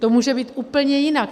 To může být úplně jinak.